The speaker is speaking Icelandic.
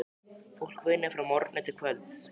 Fólkið vinnur frá morgni til kvölds.